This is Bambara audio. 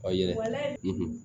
O ye